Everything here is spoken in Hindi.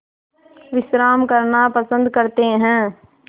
विश्राम करना पसंद करते हैं